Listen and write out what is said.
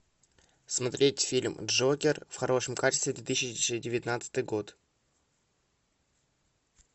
смотреть фильм джокер в хорошем качестве две тысячи девятнадцатый год